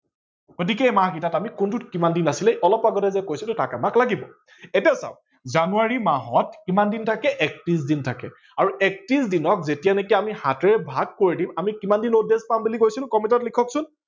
গতিকে এই মাহ কেইটাত কোনটোত কিমান দিন আছিলে অলপ আগতে যে কৈছিলো তাক আমাক লাগিব এতিয়া চাৱক জানুৱাৰী মাহত কিমান দিন থাকে একত্ৰিশ দিন থাকে আৰু একত্ৰিশ দিনক আমি যেতিয়ালেকে আমি সাতেৰে ভাগ কৰি দিম আমি কিমান দিন odd days পাম বুলি কৈছিলো comment লিখক চোন